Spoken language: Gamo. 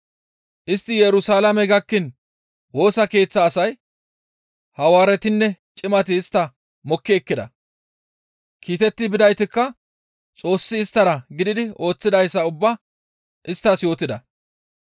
Istti Yerusalaame gakkiin Woosa Keeththa asay Hawaaretinne cimati istta mokki ekkida; kiitetti bidaytikka Xoossi isttara gididi ooththidayssa ubbaa isttas yootida.